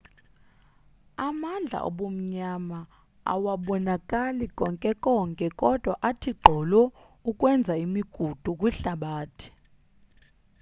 amandla obumnyama awabonakali konke konke kodwa athi gqolo ukwenza imigudu kwihlabathi